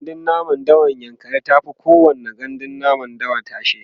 gandun namun dawan yankari tafi kowani gandun namun dawa tashe